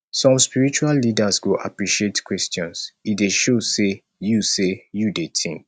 some spiritual leaders go appreciate questions e dey show say you say you dey think